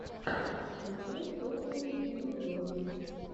включай топовые видеоблоги